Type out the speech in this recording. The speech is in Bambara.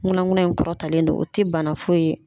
Nkuna nkuna in kɔrɔtalen don , o tɛ bana foyi ye.